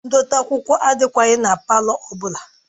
Ndote akwụkwọ adịkwaghị na palọ ọ bụla